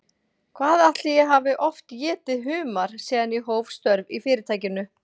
Hvað ætli ég hafi oft étið humar síðan ég hóf störf í Fyrirtækinu?